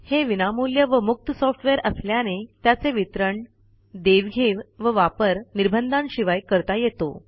हे विनामूल्य व मुक्त सॉफ्टवेअर असल्याने त्याचे वितरण देवघेव व वापर निर्बंधांशिवाय करता येतो